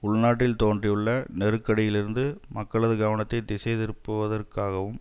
உள்நாட்டில் தோன்றியுள்ள நெருக்கடிகளிலிருந்து மக்களது கவனத்தை திசைதிருப்புவதற்காகவும்